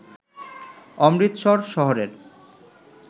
অমৃতসর শহরের